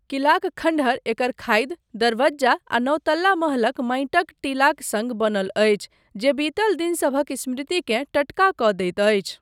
किलाक खण्डहर एकर खाधि, दरबज्जा आ नओ तल्ला महलक माटिक टीलाक सङ्ग बनल अछि, जे बीतल दिनसभक स्मृतिकेँ टटका कऽ दैत अछि।